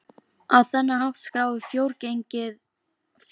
Á þennan hátt skráir frjóregnið sögu umhverfisins.